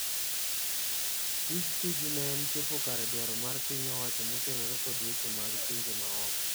Tij Tuju ne en chopo kare dwaro mar pin owacho motenore kod weche mag pinje maoko.